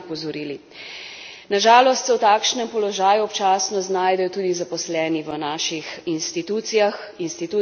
Na žalost se v takšnem položaju občasno znajdejo tudi zaposleni v naših institucijah institucijah Evropske unije.